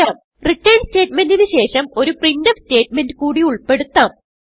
return സ്റ്റേറ്റ്മെന്റിന് ശേഷംഒരു printf statement കൂടി ഉൾപെടുത്താം